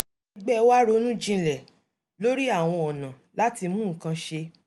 ẹgbẹ́ wa ronú jinlẹ̀ lórí àwọn ọ̀nà láti mú nǹkan ṣe